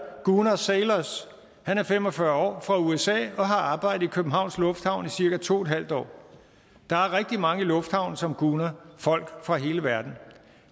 gunar sailors han er fem og fyrre år fra usa og har arbejdet i københavns lufthavn i cirka to en halv år der er rigtig mange i lufthavnen som gunar folk fra hele verden